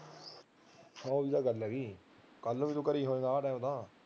ਉਹੀ ਤਾਂ ਗੱਲ ਹੈਗੀ ਕੱਲੂ ਵੀ ਤਾਂ ਤੂੰ ਘਰੇ ਆਹ ਟਾਈਮ ਤਾਂ